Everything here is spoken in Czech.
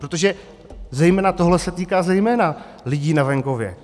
Protože tohle se týká zejména lidí na venkově.